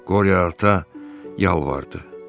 Qori ata yalvardı: